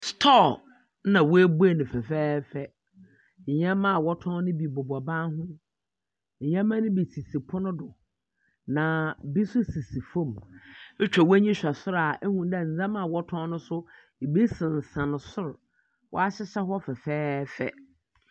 Store na woebue no fɛfɛɛfɛ. ndzɛmba a wɔtɔn no bi bobɔ ban ho, ndzɛmba no bi sisi pon do, na bi so sisi famu. Itwa w’enyi dze hwɛ sor a, ihu dɛ ndzɛmba a wɔtɔn no so, bi sensan sor. Wɔahyehyɛ hɔ fɛfɛɛfɛ.